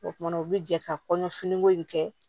O kumana u bi jɛ ka kɔɲɔ finiko in kɛ